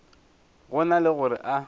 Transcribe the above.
go na le gore a